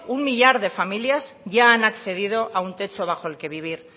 un millar de familias ya han accedido a un techo bajo el que vivir